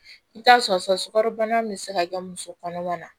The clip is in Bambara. I bɛ t'a sɔrɔ sokarobana min bɛ se ka kɛ muso kɔnɔma na